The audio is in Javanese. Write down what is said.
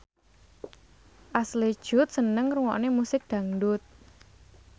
Ashley Judd seneng ngrungokne musik dangdut